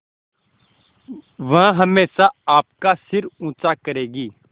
वह हमेशा आपका सिर ऊँचा करेगी